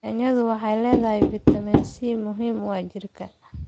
Yaanyo waxay leedahay fiitamiin C muhimu oo jidhka.